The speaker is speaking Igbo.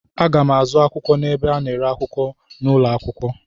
Aga m azụ akwụkwọ n'ebe a na-ere akwụkwọ n'ụlọ akwụkwọ.